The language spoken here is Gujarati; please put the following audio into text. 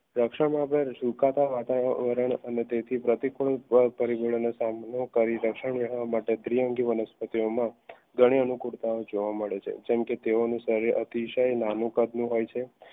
રક્ષણમાં પણ સુકાતા વાતાવરણ તેથી પ્રતિ ગુણ પરિબળોનો સામનો કરી દ્વિઅંગી વનસ્પતિઓ ઘણી અનુકુળતા જોવા મળે છે જેમકે તેઓનું શરીર અતિશય